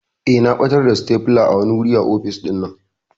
Eh na ɓatar da stapler a wani wuri a office ɗinnan.